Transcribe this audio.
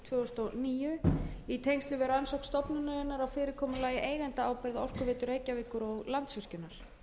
tvö þúsund og níu í tengslum við rannsókn stofnunarinnar á fyrirkomulagi eigendaábyrgð á orkuveitu reykjavíkur og landsvirkjunar